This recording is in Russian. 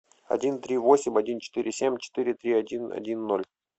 один три восемь один четыре семь четыре три один один ноль